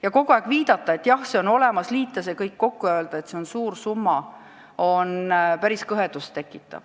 Ja kogu aeg viidata, et see toetus on olemas, liita see kõik kokku ja öelda, et see on suur summa – tekitab päris kõhedust.